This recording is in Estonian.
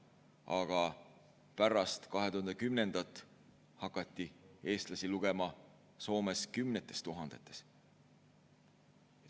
Aga pärast 2010. aastat hakati eestlasi Soomes lugema kümnetes tuhandetes.